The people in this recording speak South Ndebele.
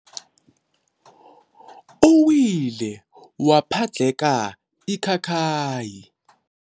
Uwile waphadlheka ikhakhayi.